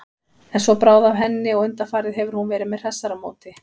En svo bráði af henni og undanfarið hefur hún verið með hressara móti.